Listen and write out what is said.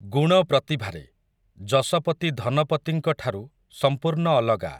ଗୁଣ ପ୍ରତିଭାରେ, ଯଶପତି ଧନପତିଙ୍କଠାରୁ, ସମ୍ପୂର୍ଣ୍ଣ ଅଲଗା ।